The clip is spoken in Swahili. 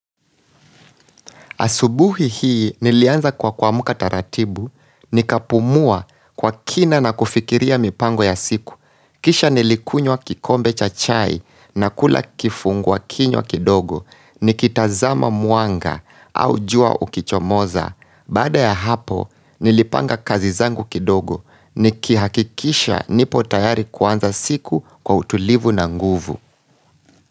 Asubuhi hii nilianza kwa kuamka taratibu, nikapumua kwa kina na kufikiria mipango ya siku. Kisha nilikunywa kikombe cha chai na kula kifungua kinywa kidogo, nikitazama mwanga au jua ukichomoza. Baada ya hapo, nilipanga kazi zangu kidogo, nikihakikisha nipo tayari kuanza siku kwa utulivu na nguvu.